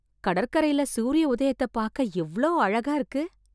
கடற்கரைல சூரிய உதயத்தைப் பார்க்க எவ்வளோ அழகாக இருக்கு.